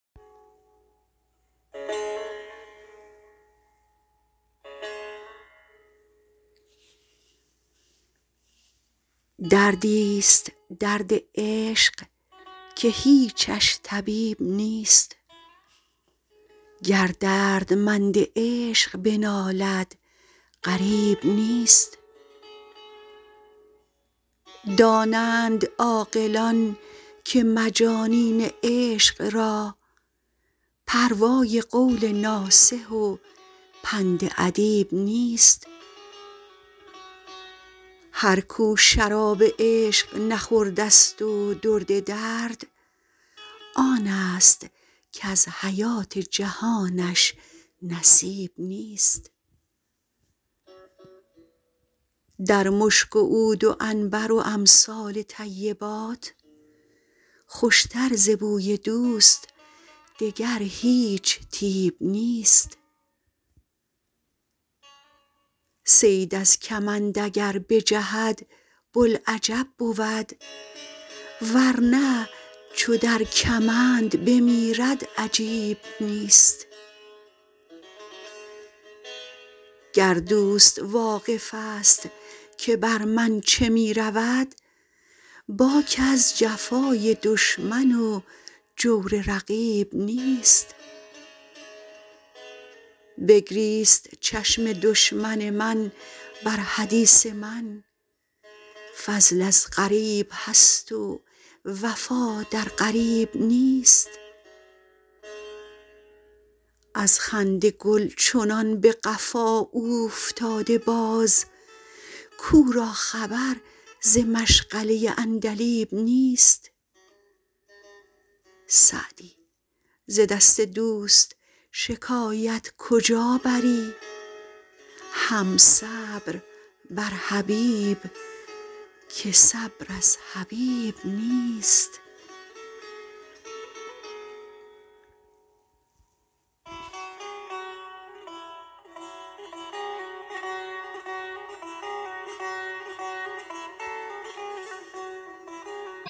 دردی ست درد عشق که هیچش طبیب نیست گر دردمند عشق بنالد غریب نیست دانند عاقلان که مجانین عشق را پروای قول ناصح و پند ادیب نیست هر کو شراب عشق نخورده ست و درد درد آن ست کز حیات جهانش نصیب نیست در مشک و عود و عنبر و امثال طیبات خوش تر ز بوی دوست دگر هیچ طیب نیست صید از کمند اگر بجهد بوالعجب بود ور نه چو در کمند بمیرد عجیب نیست گر دوست واقف ست که بر من چه می رود باک از جفای دشمن و جور رقیب نیست بگریست چشم دشمن من بر حدیث من فضل از غریب هست و وفا در قریب نیست از خنده گل چنان به قفا اوفتاده باز کو را خبر ز مشغله عندلیب نیست سعدی ز دست دوست شکایت کجا بری هم صبر بر حبیب که صبر از حبیب نیست